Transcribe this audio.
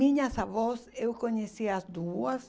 Minhas avós, eu conheci as duas.